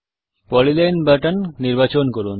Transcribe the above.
polyline button নির্বাচন করুন